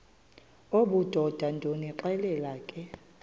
obudoda ndonixelela ke